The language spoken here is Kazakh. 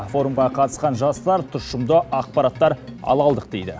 форумға қатысқан жастар тұшымды ақпараттар ала алдық дейді